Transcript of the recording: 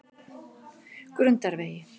Grundarvegi